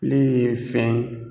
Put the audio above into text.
File ye fɛn